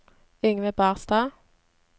Yngve Barstad